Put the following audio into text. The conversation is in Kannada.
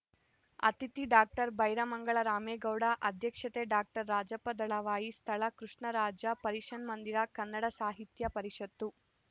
ಅತಿಥಿ ಡಾಕ್ಟರ್ ಬೈರಮಂಗಲ ರಾಮೇಗೌಡ ಅಧ್ಯಕ್ಷತೆ ಡಾಕ್ಟರ್ ರಾಜಪ್ಪ ದಳವಾಯಿ ಸ್ಥಳ ಕೃಷ್ಣರಾಜ ಪರಿಷನ್ಮಂದಿರ ಕನ್ನಡ ಸಾಹಿತ್ಯ ಪರಿಷತ್ತು